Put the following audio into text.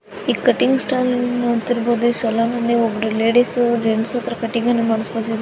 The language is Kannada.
ಈ ಕಟಿಂಗ್ ಸ್ಟಾಲ್ ನೊಡ್ತಿರ್ಬಹುದು ಇ ಸಲೂನ್ನಲ್ಲಿ ಒಬ್ರು ಲೇಡೀಸ್ ಜೆಂಡ್ಸ್ ಹತ್ರ ಕಟ್ಟಿಂಗ್ ನ ಮಾಡಿಸ್ಕೊಂತಿದರೆ.